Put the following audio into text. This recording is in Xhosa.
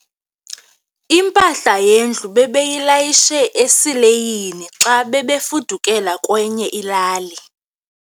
Impahla yendlu bebeyilayishe esileyini xa bebefudukela kwenye ilali.